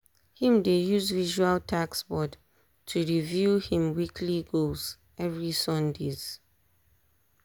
him dey use visual task board to review him weekly goals every sundays.